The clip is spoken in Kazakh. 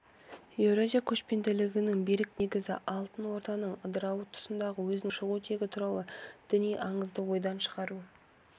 еуразия көшпенділігінің берік негізі алтын орданың ыдырауы тұсында өзінің шығу тегі туралы діни аңызды ойдан шығару